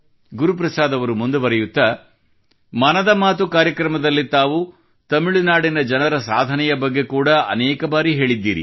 ಗುರುಪ್ರಸಾದ್ ಅವರು ಹೀಗೆ ಬರೆಯುತ್ತಾರೆ ಮನದ ಮಾತು ನಲ್ಲಿ ತಾವು ತಮಿಳು ನಾಡಿನ ಜನರ ಸಾಧನೆಯ ಬಗ್ಗೆ ಕೂಡಾ ಅನೇಕ ಬಾರಿ ಹೇಳಿದ್ದೀರಿ